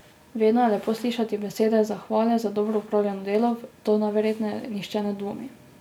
Vedno je lepo slišati besede zahvale za dobro opravljeno delo, v to najverjetneje nihče ne dvomi.